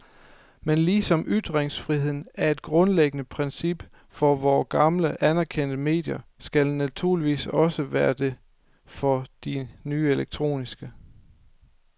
Men ligesom ytringsfriheden er et grundlæggende princip for vore gamle, anerkendte medier skal den naturligvis også være det for de nye elektroniske.